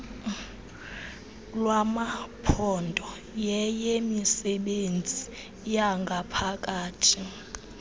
lwamaphondo yeyemisebenzi yangaphakathi